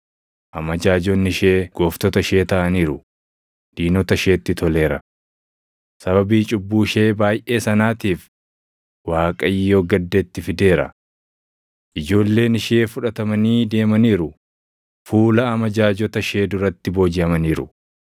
Amajaajonni ishee gooftota ishee taʼaniiru; diinota isheetti toleera. Sababii cubbuu ishee baayʼee sanaatiif Waaqayyo gadda itti fideera. Ijoolleen ishee fudhatamanii deemaniiru; fuula amajaajota ishee duratti boojiʼamaniiru.